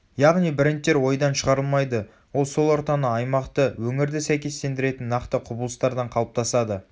яғни брендтер ойдан шығарылмайды ол сол ортаны аймақты өңірді сәйкестендіретін нақты құбылыстардан қалыптасады